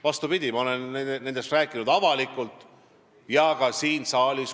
Vastupidi, ma olen nendest rääkinud avalikult ja ka siin saalis.